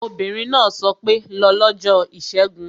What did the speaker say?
Obìnrin náà sọ pé 'lọ lọ́jọ́ ìṣẹ́gun